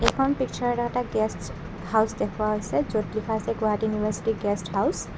এইখন পিকচাৰত এটা গেষ্ট হাউচ দেখুওৱা হৈছে য'ত লিখা আছে গুৱাহাটী ইউনিভাৰ্ছিটি গেষ্ট হাউচ ।